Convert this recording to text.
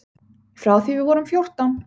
Frá því við vorum fjórtán.